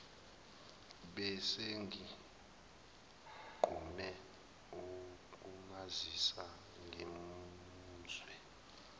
besenginqume ukumazisa ngimuzwe